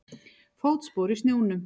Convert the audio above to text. Fótspor í snjónum.